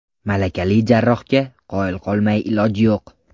Malakali jarrohga qoyil qolmay iloj yo‘q.